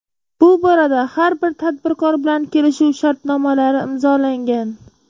Bu borada har bir tadbirkor bilan kelishuv shartnomalari imzolangan.